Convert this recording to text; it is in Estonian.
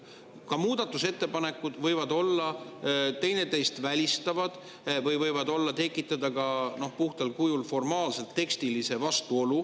Ka muudatusettepanekud võivad olla teineteist välistavad või võivad tekitada ka puhtal kujul formaalse tekstilise vastuolu.